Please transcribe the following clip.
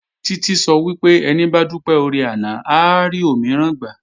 Títí sọ wípé "Ẹni bá dúpẹ́ oore àná, á rí òmíràn gbà"